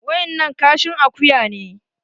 Wa innan kashin akuya ne